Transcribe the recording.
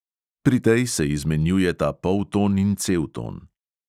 Pri tej se izmenjujeta polton in celton.